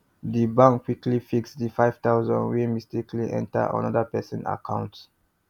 the bank quickly fix the five thousand wey mistakenly enter another person account